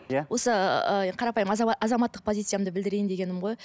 иә осы ыыы қарапайым азаматтық позициямды білдірейін дегенім ғой